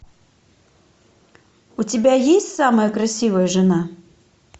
у тебя есть самая красивая жена